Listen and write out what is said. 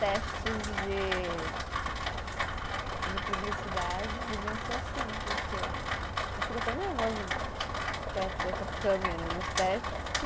Testes de. Ok. De publicidade deviam ser assim, porque a gente fica tão nervosa perto dessa câmera nos testes que...